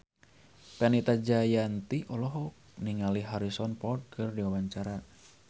Fenita Jayanti olohok ningali Harrison Ford keur diwawancara